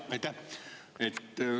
Jaa, aitäh!